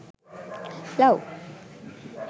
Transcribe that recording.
love